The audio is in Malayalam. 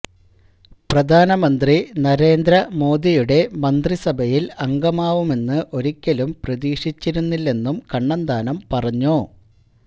പ്രധാനമന്ത്രി നരേന്ദ്ര മോദിയുടെ മന്ത്രി സഭയിൽ അംഗമാവുമെന്ന് ഒരിക്കലും പ്രതീക്ഷിച്ചിരുന്നില്ലെന്നും കണ്ണന്താനം പറഞ്ഞു